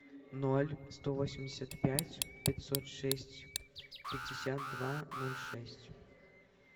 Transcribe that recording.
ноль сто восемьдесят пять пятьсот шесть пятьдесят два ноль шесть